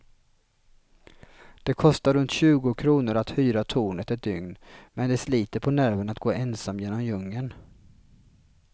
Det kostar runt tjugo kronor att hyra tornet ett dygn, men det sliter på nerverna att gå ensam genom djungeln.